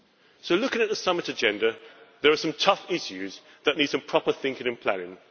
So looking at the Summit agenda, there are some tough issues that need some proper thinking and planning.